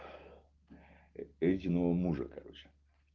единого мужа короче